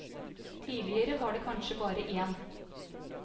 Tidligere var det kanskje bare én.